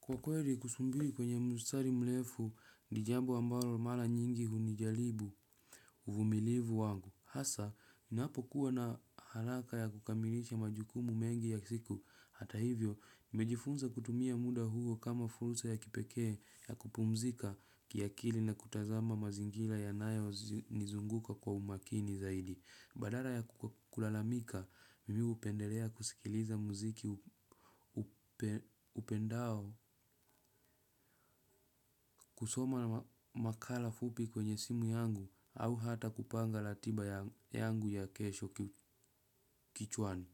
Kwa kweli kusubiri kwenye mstari mrefu ni jambo ambalo mara nyingi huni jaribu uvumilivu wangu. Hasa, ninapo kuwa na haraka ya kukamilisha majukumu mengi ya siku. Hata hivyo, mimejifunza kutumia muda huo kama fursa ya kipekee ya kupumzika kiakili na kutazama mazingira yanayo nizunguka kwa umakini zaidi. Badala ya kulalamika, mimi hupendelea kusikiliza muziki niupendao kusoma na makala fupi kwenye simu yangu au hata kupanga ratiba yangu ya kesho kichwani.